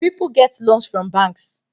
People get loans from bans